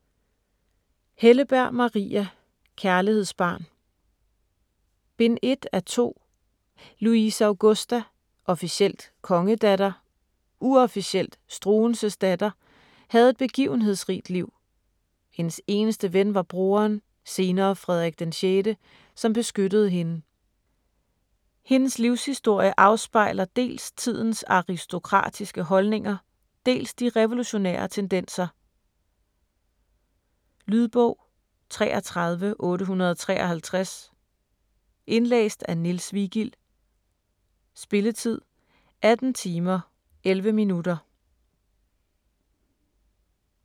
Helleberg, Maria: Kærlighedsbarn Bind 1 af 2. Louise Augusta - officielt kongedatter, uofficielt Struensees datter - havde et begivenhedsrigt liv. Hendes eneste ven var broderen, senere Frederik VI, som beskyttede hende. Hendes livshistorie afspejler dels tidens aristokratiske holdninger, dels de revolutionære tendenser. Lydbog 33853 Indlæst af Niels Vigild Spilletid: 18 timer, 11 minutter.